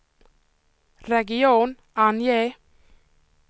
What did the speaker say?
region, ange